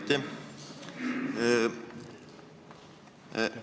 Aitäh!